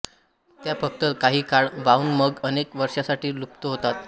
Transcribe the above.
त्या फक्त काही काळ वाहून मग अनेक वर्षांसाठी लुप्त होतात